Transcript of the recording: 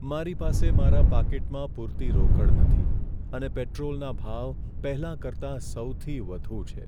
મારી પાસે મારા પાકીટમાં પૂરતી રોકડ નથી અને પેટ્રોલના ભાવ પહેલાં કરતા સૌથી વધુ છે.